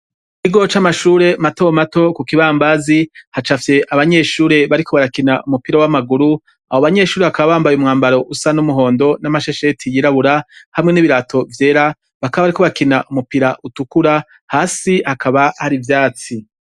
Ikigo c'amashure matomato kukibambazi hacapfye abanyeshure bariko barakina umupira w'amaguru. Abobanyeshuri bakaba bambaye umwambaro usa n'umuhondo n'amashesheti yirabura hamwe n'ibirato vyera bakaba bariko bakina umupira utukura hasi hakaba har'ivyatsi.